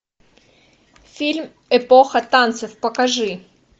фильм эпоха танцев покажи